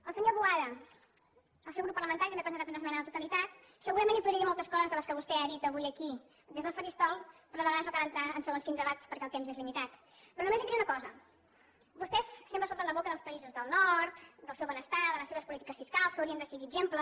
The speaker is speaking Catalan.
al senyor boada el seu grup parlamentari també ha presentat una esmena a la totalitat segurament li podria dir moltes coses de les que vostè ha dit avui aquí des del faristol però a vegades no cal entrar en segons quin debat perquè el temps és limitat però només li diré una cosa vostès sempre s’omplen la boca dels països del nord del seu benestar de les seves polítiques fiscals que hauríem de seguir exemple